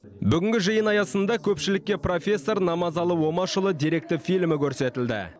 бүгінгі жиын аясында көпшілікке профессор намазалы омашұлы деректі фильмі көрсетілді